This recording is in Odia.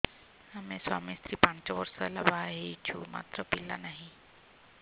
ଆମେ ସ୍ୱାମୀ ସ୍ତ୍ରୀ ପାଞ୍ଚ ବର୍ଷ ହେଲା ବାହା ହେଇଛୁ ମାତ୍ର ପିଲା ନାହିଁ